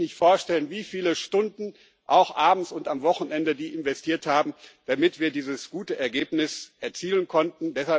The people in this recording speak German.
Sie können sich nicht vorstellen, wie viele Stunden, auch abends und am Wochenende, die investiert haben, damit wir dieses gute Ergebnis erzielen konnten.